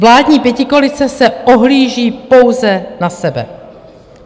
Vládní pětikoalice se ohlíží pouze na sebe.